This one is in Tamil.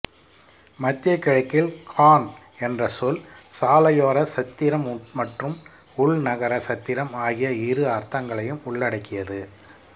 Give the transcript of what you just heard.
மத்திய கிழக்கில் கான் என்ற சொல் சாலையோர சத்திரம் மற்றும் உள்நகர சத்திரம் ஆகிய இரு அர்த்தங்களையும் உள்ளடக்கியது